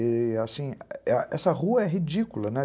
E, assim, essa rua é ridícula, né?